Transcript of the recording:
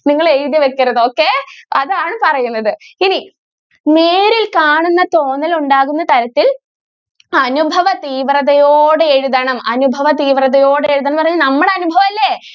നിങ്ങൾ എഴുതി വെക്കരുത് okay അതാണ് പറയുന്നത് ഇനി നേരിൽ കാണുന്ന തോന്നൽ ഉണ്ടാകുന്ന തരത്തിൽ അനുഭവ തീവ്രതയോടെ എഴുതണം അനുഭവ തീവ്രതയോടെ എഴുതണം എന്ന് പറയുമ്പോൾ നമ്മുടെ അനുഭവം അല്ലെ.